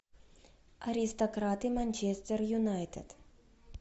аристократы манчестер юнайтед